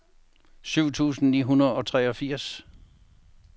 syv tusind ni hundrede og treogfirs